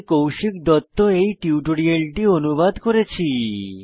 আমি কৌশিক দত্ত এই টিউটোরিয়ালটি অনুবাদ করেছি